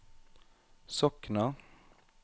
Sokna